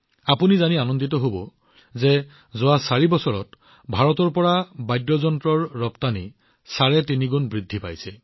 আপোনালোকে জানি আনন্দিত হব যে যোৱা ৮ বছৰত ভাৰতৰ পৰা বাদ্যযন্ত্ৰৰ ৰপ্তানি চাৰে তিনিগুণ বৃদ্ধি পাইছে